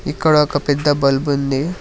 ఇక్కడ ఒక పెద్ద బల్బు ఉంది.